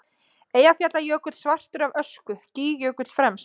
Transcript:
Eyjafjallajökull svartur af ösku, Gígjökull fremst.